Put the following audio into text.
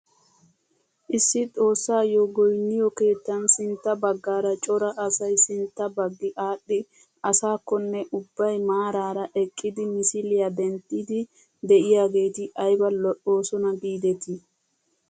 Issi xoossayoo goyniyoo keettan sintta baggaara cora asay sintta baggi adhdhidi aysakonne ubbay maarara eqqidi misiliyaa denddiidi de'iyaageti ayba lo"oosona gidetii!